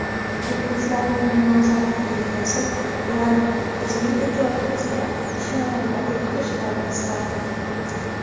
Muxlislarning munosabatiga kelsak, ular bizning ijodimizga shinavandalik qilishlarini istardik”.